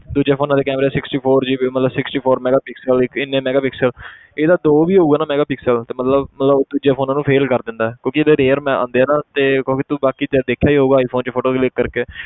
ਦੂਜੇ phones ਦੇ camera sixty four GB ਮਤਲਬ sixty four megapixel ਇੰਨੇ megapixel ਇਹਦਾ ਦੋ ਵੀ ਹੋਊਗਾ ਨਾ megapixel ਤੇ ਮਤਲਬ ਮਤਲਬ ਦੂਜੇ phones ਨੂੰ fail ਕਰ ਦਿੰਦਾ ਹੈ ਕਿਉਂਕਿ ਇਹਦੇ rare ਮ~ ਆਉਂਦੇ ਹੈ ਨਾ ਤੇ ਕਿਉਂਕਿ ਬਾਕੀ ਜਿੱਦਾਂ ਦੇਖਿਆ ਹੀ ਹੋਊਗਾ iphone 'ਚ photo click ਕਰਕੇ